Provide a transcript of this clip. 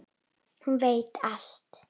Hún veit allt.